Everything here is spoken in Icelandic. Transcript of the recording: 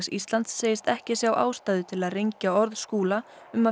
Íslands segist ekki sjá ástæðu til að rengja orð Skúla